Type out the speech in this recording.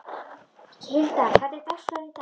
Hilda, hvernig er dagskráin í dag?